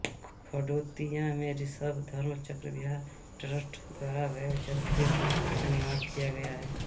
खड़ोतिया में ऋषभ धर्मचक्र विहार ट्रस्ट द्वारा भव्य जैन तीर्थ का निर्माण किया गया है